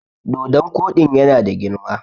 dodon Koɗin yana da girma!